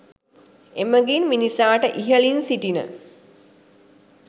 එමඟින් මිනිසාට ඉහළින් සිටින,